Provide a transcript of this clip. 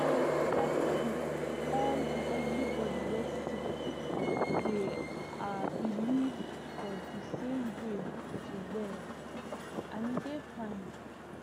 um like no be all everybody wey sick dey ah believe for the same way to well and e dey fine